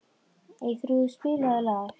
Eyþrúður, spilaðu lag.